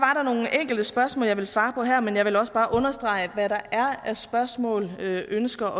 enkelte spørgsmål jeg vil svare på her men jeg vil også bare understrege at hvad der er af spørgsmål ønsker